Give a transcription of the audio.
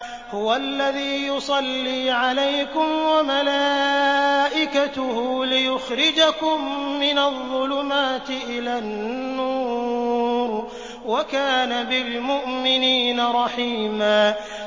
هُوَ الَّذِي يُصَلِّي عَلَيْكُمْ وَمَلَائِكَتُهُ لِيُخْرِجَكُم مِّنَ الظُّلُمَاتِ إِلَى النُّورِ ۚ وَكَانَ بِالْمُؤْمِنِينَ رَحِيمًا